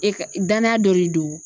E ka danaya dɔ de don